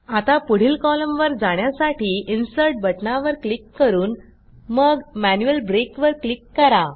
आता पुढील कॉलमवर जाण्यासाठी इन्सर्ट बटणावर क्लिक करून मग मॅन्युअल ब्रेक वर क्लिक करा